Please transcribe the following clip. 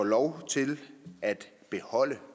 lov til at beholde